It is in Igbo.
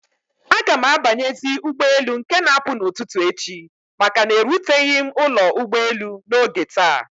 Agam abanyezi ụgbọ elu nke na apụ na ụtụtụ echi maka na eruteghi m ụlọ ụgbọ elu na oge taa